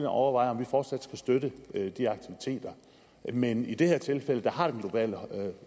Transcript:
og overvejer om vi fortsat skal støtte de aktiviteter men i det her tilfælde har den globale